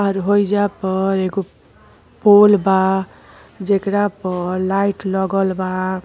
और होइजा पर एगो पोल बा जेकरा पर लाइट लगल बा।